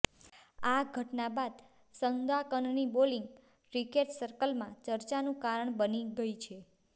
આ ઘટના બાદ સંદાકનની બોલીંગ ક્રિકેટ સર્કલમાં ચર્ચાનું કારણ બની ગઇ છે